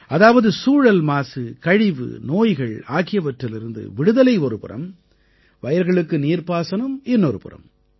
அதாவது சூழல்மாசு கழிவு நோய்கள் ஆகியவற்றிலிருந்து விடுதலை ஒருபுறம் வயல்களுக்கு நீர்பாசனம் இன்னொரு புறம்